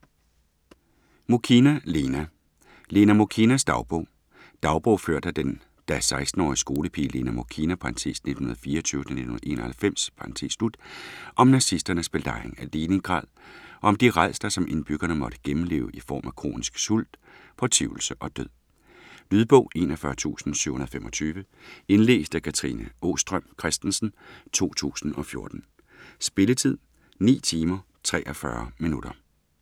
Muchina, Lena: Lena Mukhinas dagbog Dagbog ført af den da 16-årige skolepige Lena Muchina (1924-1991) om nazisternes belejring af Leningrad, og om de rædsler, som indbyggerne måtte gennemleve i form af kronisk sult, fortvivlelse og død. Lydbog 41725 Indlæst af Katrine Aastrøm Christensen, 2014. Spilletid: 9 timer, 43 minutter.